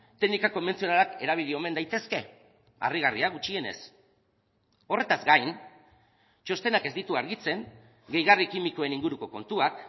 teknika konbentzionalak erabili omen daitezke harrigarria gutxienez horretaz gain txostenak ez ditu argitzen gehigarri kimikoen inguruko kontuak